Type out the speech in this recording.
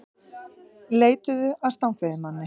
Leituðu að stangveiðimanni